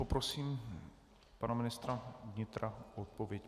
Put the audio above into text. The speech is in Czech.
Poprosím pana ministra vnitra o odpověď.